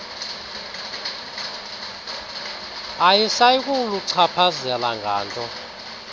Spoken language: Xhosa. ayisayi kuluchaphazela nganto